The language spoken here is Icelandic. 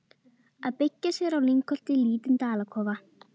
Að byggja sér í lyngholti lítinn dalakofa.